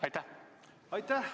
Aitäh!